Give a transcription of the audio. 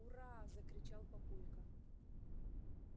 ура-а-а-а закричал папулька